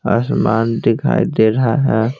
आसमान दिखाई दे रहा है।